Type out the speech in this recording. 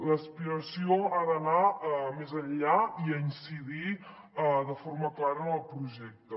l’aspiració ha d’anar més enllà i ha d’incidir de forma clara en el projecte